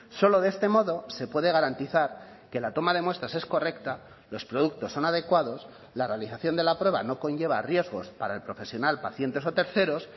solo de este modo se puede garantizar que la toma de muestras es correcta los productos son adecuados la realización de la prueba no conlleva riesgos para el profesional pacientes o terceros